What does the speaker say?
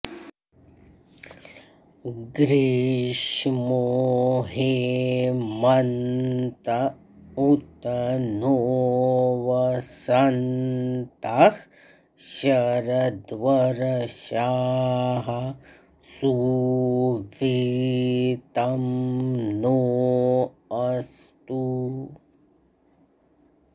ग्री॒ष्मो हे॑म॒न्त उ॒त नो॑ वस॒न्तः श॒रद्व॒र्॒षाः सु॑वि॒तं नो॑ अस्तु